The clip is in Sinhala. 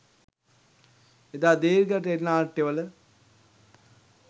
එදා දීර්ඝ ටෙලි නාට්‍යවල